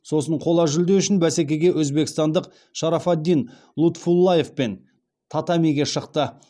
сосын қола жүлде үшін бәсекеге өзбекстандық шарафоддин лутфуллаевпен татамиге шықты